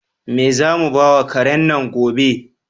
Me zamu bawa karen nan gobe?